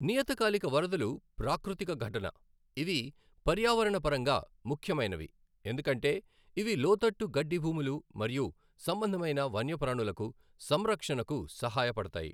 నియతకాలిక వరదలు ప్రాకృతికఘటన, ఇవి పర్యావరణపరంగా ముఖ్యమైనవి ఎందుకంటే ఇవి లోతట్టు గడ్డి భూములు మరియు సంబంధమైన వన్యప్రాణులకు సంరక్షణకు సహాయపడతాయి.